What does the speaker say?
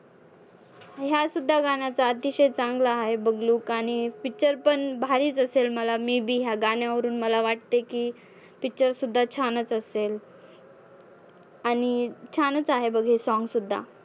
ह्या सुद्धा गाण्याचा अतिशय चांगला आहे बघ look आणि picture पण भारीच असेल मला may be ह्या गाण्यावरून मला वाटते की picture सुद्धा छानच असेल. आणि छानच आहे बघ song सुद्धा.